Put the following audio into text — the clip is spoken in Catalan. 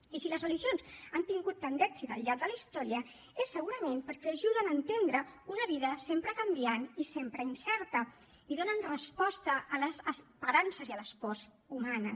i si les religions han tingut tant d’èxit al llarg de la història és segurament perquè ajuden a entendre una vida sempre canviant i sempre incerta i donen resposta a les esperances i a les pors humanes